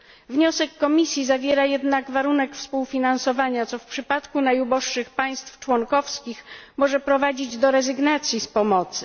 Wniosek Komisji zawiera jednak warunek współfinansowania, co w przypadku najuboższych państw członkowskich może prowadzić do rezygnacji z pomocy.